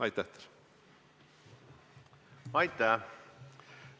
Aitäh!